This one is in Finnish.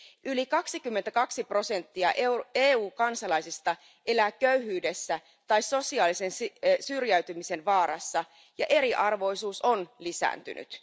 Yli 22 prosenttia EU kansalaisista elää köyhyydessä tai sosiaalisen syrjäytymisen vaarassa, ja eriarvoisuus on lisääntynyt.